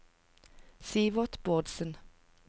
Sivert Bårdsen